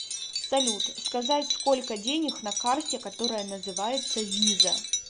салют сказать сколько денег на карте которая называется виза